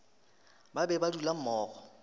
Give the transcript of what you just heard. ba be ba dula mmogo